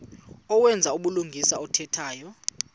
owenza ubulungisa othetha